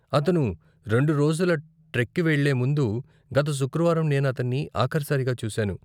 అతను రెండు రోజుల ట్రెక్కి వెళ్లే ముందు, గత శుక్రవారం నేను అతన్ని ఆఖరి సారిగా చూసాను.